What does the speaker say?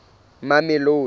mamelodi